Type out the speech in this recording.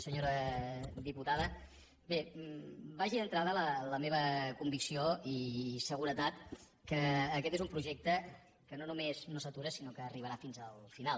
senyora diputada bé vagi d’entrada la meva convicció i seguretat que aquest és un projecte que no només no s’atura sinó que arribarà fins al final